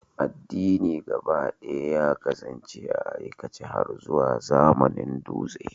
Addini gabaɗaya ya kasance a aikace har zuwa zamanin dutse.